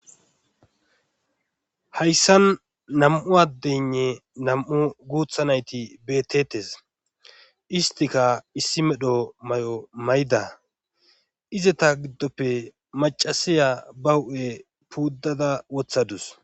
hayssan nam7u addeynne nam7u guuthanayti betetes istika issi medho may7o mayda izeta giddoppe macasiya ba hu7e puuddada wothadus